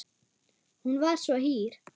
Hún var svo hýr.